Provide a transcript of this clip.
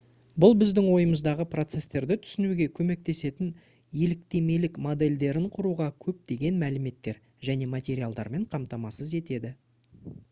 бұл біздің ойымыздағы процестерді түсінуге көмектесетін еліктемелік модельдерін құруға көптеген мәліметтер және материалдармен қамтамасыз етеді